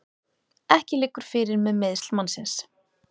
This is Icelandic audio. Ekki liggur fyrir með meiðsl mannsins